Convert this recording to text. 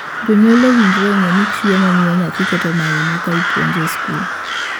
Jonyuol owinjore ong'ee ni chiemo miyo nyathi keto maino ka ipuonje e skul.